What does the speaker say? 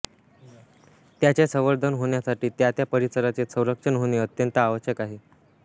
त्याचे संवर्धन होण्यासाठी त्या त्या परिसराचे संरक्षण होणे अत्यंत आवश्यक आहे